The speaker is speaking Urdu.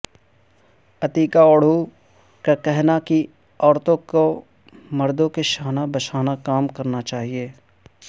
عتیقہ اوڈھو کا کہنا کہ عورتوں کو مردوں کے شانہ بشانہ کام کرنا چاہیے